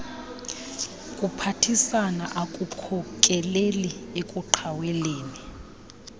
kuphathisana akukhokeleli ekuqhaweleni